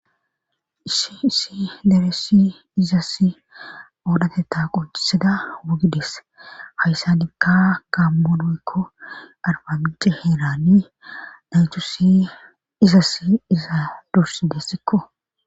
isisi deressi izass oodhate taaqoccisida wugideese hayssanikka gaammonoykko arbabije heerani dhaythu si izassi iza dursi deessikko